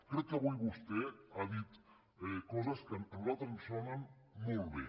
crec que avui vostè ha dit coses que a nosaltres ens sonen molt bé